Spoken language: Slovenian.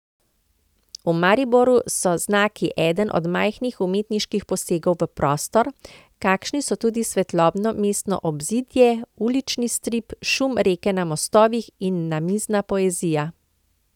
V Mariboru so znaki eden od majhnih umetniških posegov v prostor, kakršni so tudi Svetlobno mestno obzidje, Ulični strip, Šum reke na mostovih in Namizna poezija.